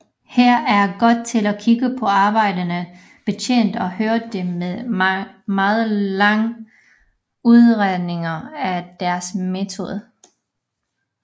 Her er god til at kigge på arbejdende betjente og høre de meget lange udredninger af deres metode